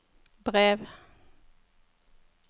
brev